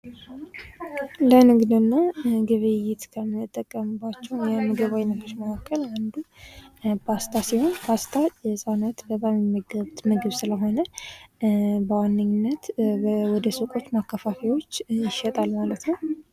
ዓለም አቀፍ ንግድ በሀገራት መካከል የሸቀጦችና የአገልግሎቶች ልውውጥን የሚያካትት ሲሆን የኢኮኖሚ ትስስርን ያጠናክራል።